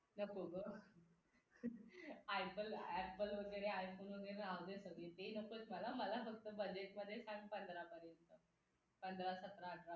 नको ग apple apple वगैरे iphone वगैरे राहू दे सगळं ते नको येत मला फक्त budget मध्ये सांग पंधरा पर्यंत पंधरा सतरा आठरा पर्यंत